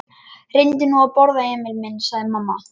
Reyndu nú að borða, Emil minn, sagði mamma.